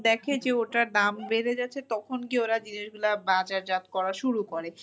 দেখে যে ওটার দাম বেড়ে যাচ্ছে তখন গিয়ে ওরা জিনিসগুলা বাজারজাত করা শুরু করে।